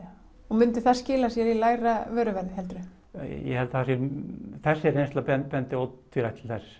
myndi það skila sér í lægra vöruverði heldurðu ég held að þessi reynsla bendi ótvírætt til þess